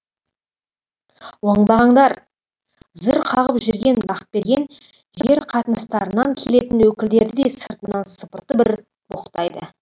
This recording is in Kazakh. оңбағандар зыр қағып жүрген бақберген жер қатынастарынан келетін өкілдерді де сыртынан сыпыртып бір боқтайды